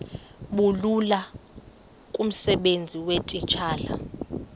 bulula kumsebenzi weetitshala